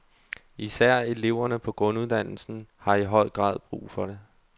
Især eleverne på grunduddannelsen har i høj grad brug for det.